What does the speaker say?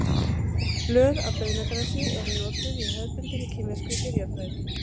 blöð af baunagrasi eru notuð í hefðbundinni kínverskri lyfjafræði